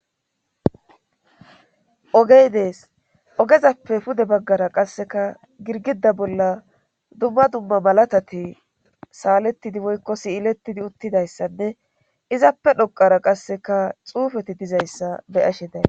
ogey dees ogezappe pude baggara qasseka girgida bolla dumma dumma malatati saalettidi woykko siyilettidi uttidayssanne izappe dhoqara qasseka xuufeti dizayssa beyashe day